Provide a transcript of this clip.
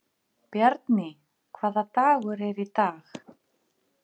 Bjarný, hvaða dagur er í dag?